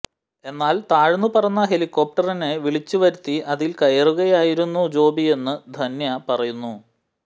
എന്നാൽ താഴ്ന്നു പറന്ന ഹെലികോപ്ടറിനെ വിളിച്ചു വരുത്തി അതിൽ കയറുകയായിരുന്നു ജോബിയെന്ന് ധന്യ പറയുന്നു